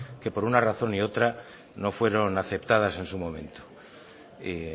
que por una razón y otra no fueron aceptadas en su momento y